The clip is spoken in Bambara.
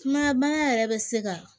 Kuma bana yɛrɛ bɛ se ka